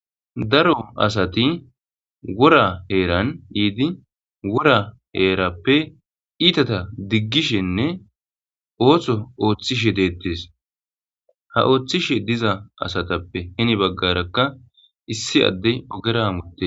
Daro asati wora heeran iidi wora heerappe iitata diggishenne oothso ooththishe deettes ha ooththishe diza asatappe hini baggarakka issi adde ogera amote.